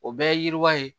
O bɛɛ ye yiriwa ye